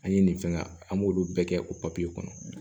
An ye nin fɛn an b'olu bɛɛ kɛ o papiye kɔnɔ